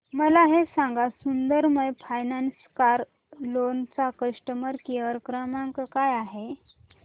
मला हे सांग सुंदरम फायनान्स कार लोन चा कस्टमर केअर क्रमांक काय आहे